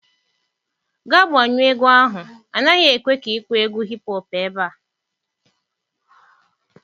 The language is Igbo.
Gaa gbanyụọ egwu ahụ, a naghị ekwe ka ị kpọọ egwu hip hop ebe a.